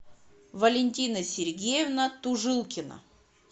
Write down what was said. валентина сергеевна тужилкина